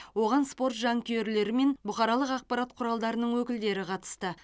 оған спорт жанкүйерлері мен бұқаралық ақпарат құралдарының өкілдері қатысты